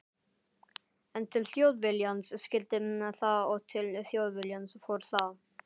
En til Þjóðviljans skyldi það og til Þjóðviljans fór það.